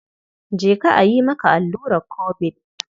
Je ka a yi maka alluran Kobid.